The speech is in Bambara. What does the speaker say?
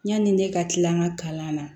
Yani ne ka tila an ka kalan na